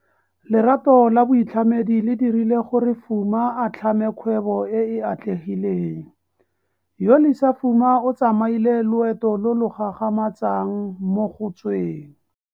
Lerato la boitlhamedi le dirile gore Fuma a tlhame kgwebo e e atlegileng. Yolisa Fuma o tsamaile loeto lo lo gagamatsang mo go tsweng.